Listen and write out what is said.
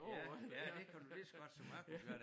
Ja ja det kan du lige så godt som mig kunnet gøre